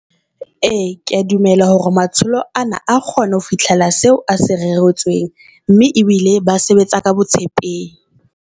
Ee, kea dumela hore matsholo ana a kgona ho fihlela seo a se reretsweng, mme ebile ba sebetsa ka bo tshepehi.